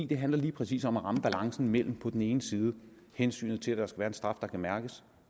det handler lige præcis om at ramme balancen mellem på den ene side hensynet til at der skal være en straf der kan mærkes